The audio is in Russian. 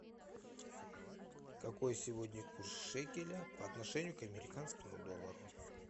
какой сегодня курс шекеля по отношению к американскому доллару